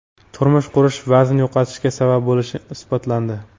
Turmush qurish vazn yo‘qotishga sabab bo‘lishi isbotlandi.